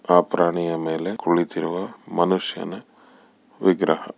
ಆ ಪ್ರಾಣಿಯ ಮೇಲೆ ಕುಳಿತಿರುವ ಮನುಷ್ಯನ ವಿಗ್ರಹ.